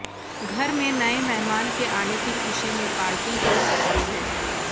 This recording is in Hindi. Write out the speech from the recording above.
घर में नए मेहमान के आने की खुशी में पार्टी हो सकती है